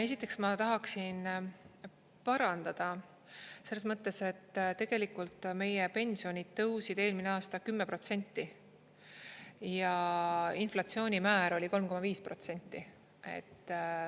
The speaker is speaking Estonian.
Esiteks, ma tahaksin parandada selles mõttes, et tegelikult meie pensionid tõusid eelmisel aastal 10% ja inflatsioonimäär oli 3,5%.